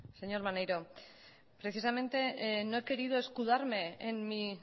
señor maneiro precisamente no he querido escudarme en mi